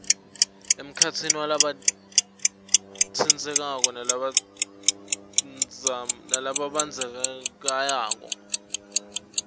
emkhatsini walabatsintsekako lababandzakanyekako